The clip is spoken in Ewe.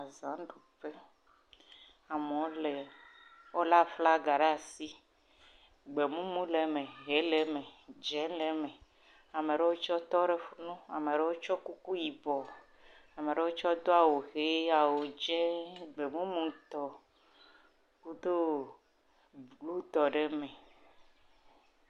Azãɖuƒe. Amewo le. Wolé aflaga ɖe asi. Gbemumu lee me, ʋee le me, dzẽ lee me. Ame ɖewo tsɛ tɔ ɖe fu nu. Ame ɖewo tsyɔ kuku yibɔ. Ame ɖewo tsɔ do awu ʋee, awu dzẽe, gbemumutɔ, wodo bluutɔ ɖe eme.